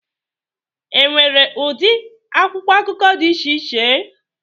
Enwere ụdị akwụkwọ akụkọ dị iche iche